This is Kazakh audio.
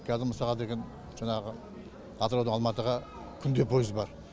қазір мысалға деген жаңағы атыраудан алматыға күнде пойыз бар